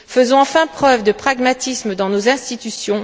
Faisons enfin preuve de pragmatisme dans nos institutions!